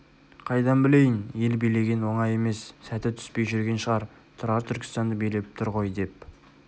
қайдан білейін ел билеген оңай емес сәті түспей жүрген шығар тұрар түркістанды билеп тұр ғой деп